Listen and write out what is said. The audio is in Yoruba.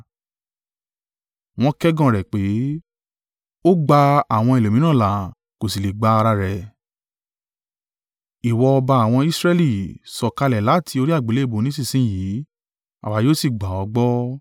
Wọ́n kẹ́gàn rẹ̀ pé, “Ó gba àwọn ẹlòmíràn là, kò sí lè gba ara rẹ̀. Ìwọ ọba àwọn Israẹli? Sọ̀kalẹ̀ láti orí àgbélébùú nísinsin yìí, àwa yóò sì gbà ọ́ gbọ́.